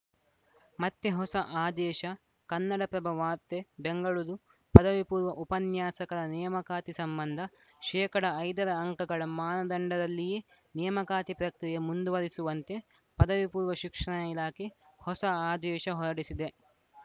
ಮತ್ತೆ ಹೊಸ ಆದೇಶ ಕನ್ನಡಪ್ರಭ ವಾರ್ತೆ ಬೆಂಗಳೂರು ಪದವಿ ಪೂರ್ವ ಉಪನ್ಯಾಸಕರ ನೇಮಕಾತಿ ಸಂಬಂಧ ಶೇಕಡಾ ಐದರ ಅಂಕಗಳ ಮಾನದಂಡದಲ್ಲಿಯೇ ನೇಮಕಾತಿ ಪ್ರಕ್ರಿಯೆ ಮುಂದುವರಿಸುವಂತೆ ಪದವಿಪೂರ್ವ ಶಿಕ್ಷಣ ಇಲಾಖೆ ಹೊಸ ಆದೇಶ ಹೊರಡಿಸಿದೆ